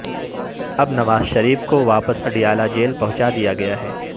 اب نواز شریف کو واپس اڈیالہ جیل پہنچا دیا گیا ہے